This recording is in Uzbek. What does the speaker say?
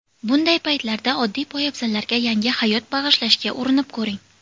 Bunday paytlarda oddiy poyabzallarga yangi hayot bag‘ishlashga urinib ko‘ring.